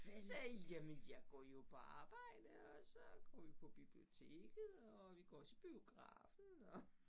Sagde jamen jeg går jo på arbejde og så går vi på biblioteket og vi går også i biografen og